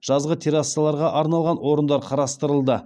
жазғы террассаларға арналған орындар қарастырылды